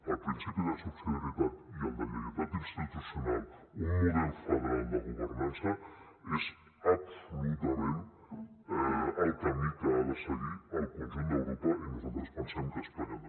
el principi de subsidiarietat i el de lleialtat institucional un model federal de governança és absolutament el camí que ha de seguir el conjunt d’europa i nosaltres pensem que espanya també